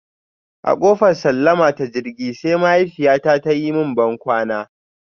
A kofar sallama ta jirgi, sai mahaifiyyata ta yi mun bankwana.